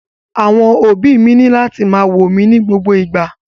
Àwọn òbí mi ni lati ma wo mi ni gbogbo igba.